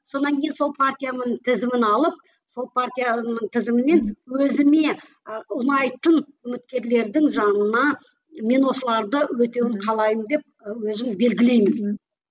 сонан кейін сол партияның тізімін алып сол партияның тізімімен өзіме ы ұнайтын үміткерлердің жанына мен осыларды өтеуін қалаймын деп ы өзім белгілеймін